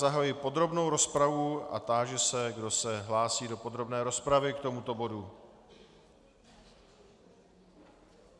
Zahajuji podrobnou rozpravu a táži se, kdo se hlásí do podrobné rozpravy k tomuto bodu.